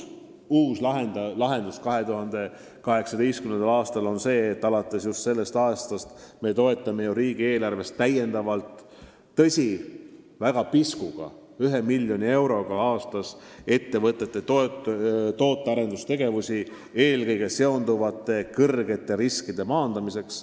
Uus lahendus 2018. aastal on see, et alates sellest aastast me toetame riigieelarvest täiendavalt – tõsi, väga piskuga, 1 miljoni euroga aastas – ettevõtete tootearendustegevusi, seda eelkõige seonduvate suurte riskide maandamiseks.